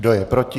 Kdo je proti?